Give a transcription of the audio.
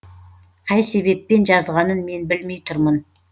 қай себеппен жазғанын мен білмей тұрмын